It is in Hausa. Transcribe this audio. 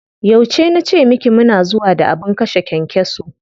Yauce na ce miki mu na zuwa da abin kashe kyankyaso?